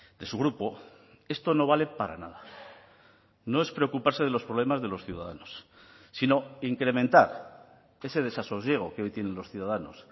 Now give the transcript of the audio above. de su grupo esto no vale para nada no es preocuparse de los problemas de los ciudadanos sino incrementar ese desasosiego que hoy tienen los ciudadanos